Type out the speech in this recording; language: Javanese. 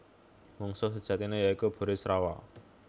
Mungsuh sejatiné ya iku Burisrawa